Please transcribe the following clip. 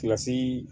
Kilasii